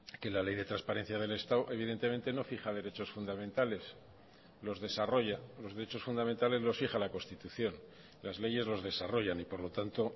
que la ley de transparencia del estado evidentemente no fija derechos fundamentales los desarrolla los derechos fundamentales los fija la constitución las leyes los desarrollan y por lo tanto